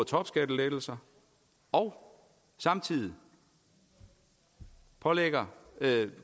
topskattelettelser og samtidig pålægger